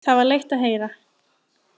Það var leitt að heyra.